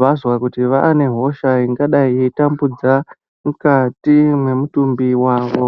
vazwa kuti vane hosha ingadai yei tambudza mukati mwe mutumbi wavo.